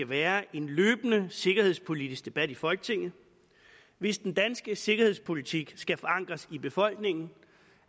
være en løbende sikkerhedspolitisk debat i folketinget hvis den danske sikkerhedspolitik skal forankres i befolkningen